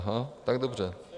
Aha, tak dobře.